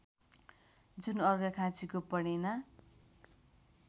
जुन अर्घाखाँचीको पणेना